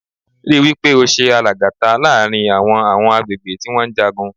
Rí wí pé o ṣe alàgàta láàrin àwọn àwọn agbègbè tí wọ́n ń jagun.